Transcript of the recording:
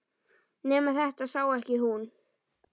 Nema þetta sé ekki hún.